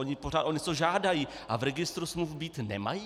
Oni pořád o něco žádají, a v registru smluv být nemají?